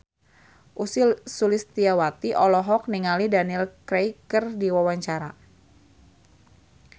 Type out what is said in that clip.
Ussy Sulistyawati olohok ningali Daniel Craig keur diwawancara